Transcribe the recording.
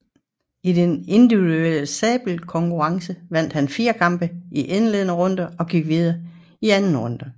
I den individuelle sabelkonkurrence vandt han fire kampe i indledende runde og gik videre til anden runde